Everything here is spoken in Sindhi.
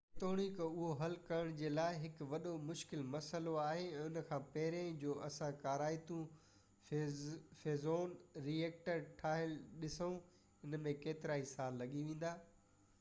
جيتوڻڪ اهو حل ڪرڻ جي لاءِ هڪ وڏو مشڪل مسئلو آهي ۽ ان کان پهرين جو اسان ڪارائتو فيوزن ري ايڪٽر ٺهيل ڏسو ان ۾ ڪيترائي سال لڳي ويندا